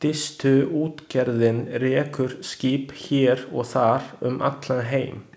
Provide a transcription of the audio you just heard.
Distuútgerðin rekur skip hér og þar um allan heim.